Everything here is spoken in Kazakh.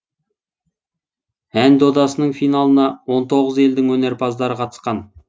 ән додасының финалына он тоғыз елдің өнерпаздары қатысқан